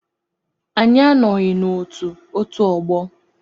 Anyị anọghị na otù otú ọgbọ.